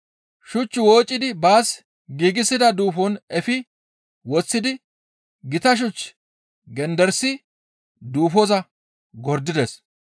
Shuch woocidi baas giigsida duufon efi woththidi gita shuch genderisi duufoza gordides.